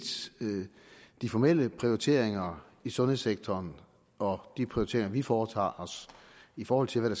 de formelle prioriteringer i sundhedssektoren og de prioriteringer vi foretager i forhold til hvad